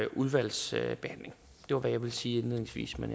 udvalgsbehandling det var hvad jeg vil sige indledningsvis men